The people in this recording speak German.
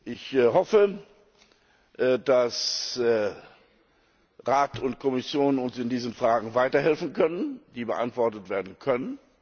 Ich hoffe, dass Rat und Kommission uns in diesen Fragen weiterhelfen können, dass diese beantwortet werden können.